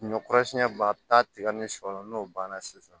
Ɲɔ kɔrɔ siɲɛ ba taa ni sɔ la n'o banna sisan